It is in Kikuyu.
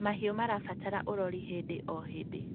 mahiũ irabatara urori hĩndĩ o hĩndĩ